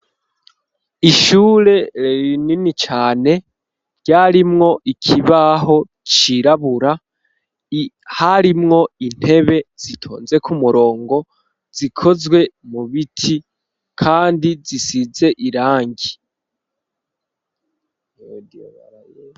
Ishure rinini cane, ryarimwo ikibaho cirabura, harimwo intebe zitonze kumurongo, zikozwe mu biti ,kandi zisize irangi.